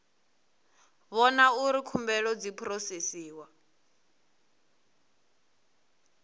vhona uri khumbelo dzi phurosesiwa